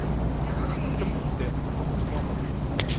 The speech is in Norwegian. Til å motsi og få forstand av.